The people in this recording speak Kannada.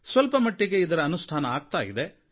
ಸ್ವಲ್ಪ ಮಟ್ಟಿಗೆ ಇದರ ಅನುಷ್ಠಾನ ಆಗ್ತಾ ಇದೆ